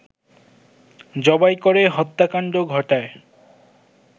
জবাই করে হত্যাকাণ্ড ঘটায়